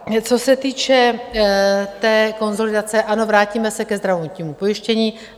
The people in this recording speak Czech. Co se týče té konsolidace - ano, vrátíme se ke zdravotnímu pojištění.